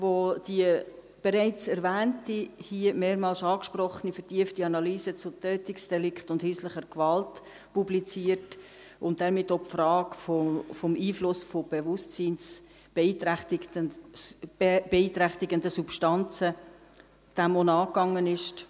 das BFS, das die bereits erwähnte, hier mehrmals angesprochene, vertiefte Analyse zu Tötungsdelikten und häuslicher Gewalt publiziert und damit auch der Frage des Einflusses von bewusstseinsbeeinträchtigenden Substanzen nachgegangen ist;